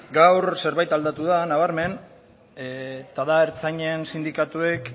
gaur zerbait aldatu da nabarmen eta da ertzainen sindikatuek